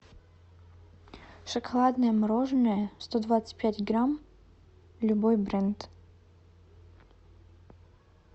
шоколадное мороженое сто двадцать пять грамм любой бренд